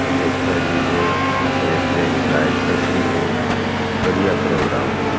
ड्रेस पेहरी है तरह तरह की लाइट्स चस रही है बढ़िया प्रोग्राम है भाई।